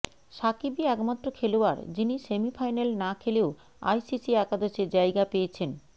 সাকিবই একমাত্র খেলোয়াড় যিনি সেমিফাইনাল না খেলেও আইসিসি একাদশে জায়গা পেয়েছেন